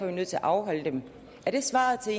vi nødt til at afholde dem er det svaret til